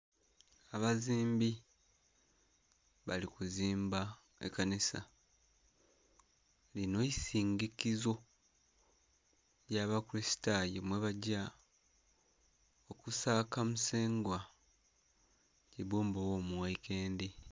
Abazimbi bali kuzimba ekanisa lino isizikizo lya bakukusitayo yebagya okusaka musengwa kibbumba ogho mughaikendi.